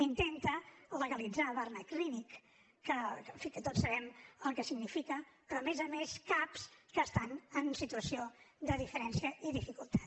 intenta legalitzar barnaclínic que en fi tots sabem el que significa però a més a més cap que estan en situació de diferència i dificultat